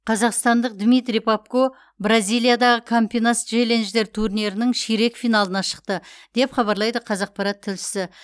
қазақстандық дмитрий попко бразилиядағы кампинас челленджер турнирінің ширек финалына шықты деп хабарлайды қазақпарат тілшісі